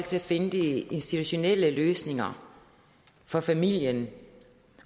til at finde de institutionelle løsninger for familien